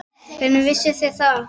Hvernig vissuð þér það?